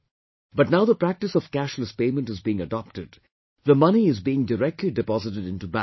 But now the practice of cashless payment is being adopted; the money is being directly deposited into banks